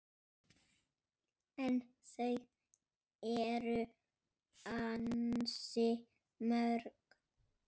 En þau eru ansi mörg